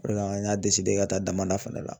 O de la an y'a ka taa damanda fɛnɛ la